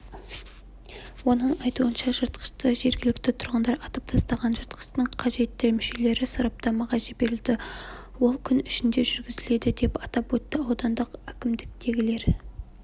оның айтуынша жыртқышты жергілікті тұрғындар атып тастаған жыртқыштың қажетті мүшелері сараптамаға жіберілді ол күн ішінде жүргізіледі деп атап өтті аудандық әкімдіктегілер